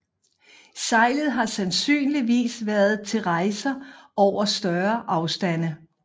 Sejlet har sandsynligvis været til rejser over større afstande